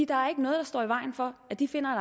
der er ikke noget der står i vejen for at de finder